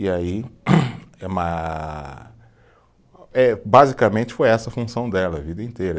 E aí, eh ma, eh basicamente foi essa a função dela, a vida inteira.